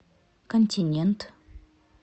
континент